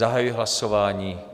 Zahajuji hlasování.